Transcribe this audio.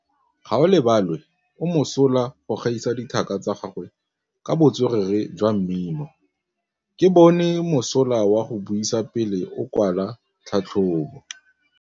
Gaolebalwe o mosola go gaisa dithaka tsa gagwe ka botswerere jwa mmino. Ke bone mosola wa go buisa pele o kwala tlhatlhobô.